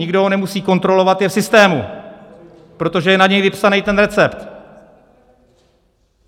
Nikdo ho nemusí kontrolovat, je v systému, protože je na něj vypsaný ten recept.